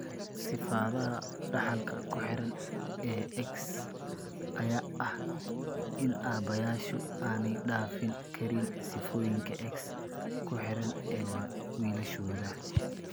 Sifada dhaxalka ku xidhan ee X ayaa ah in aabayaashu aanay dhaafin karin sifooyinka X ku xidhan ee wiilashooda.